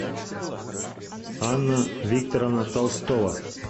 анна викторовна толстова